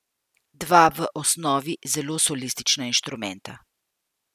Dva v osnovi zelo solistična inštrumenta.